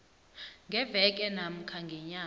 ngeveke namkha ngenyanga